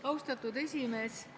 Austatud esimees!